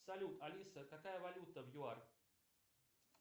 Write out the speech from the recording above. салют алиса какая валюта в юар